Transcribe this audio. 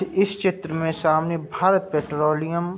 इस चित्र में सामने भारत पेट्रोलियम --